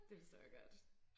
Det forstår jeg godt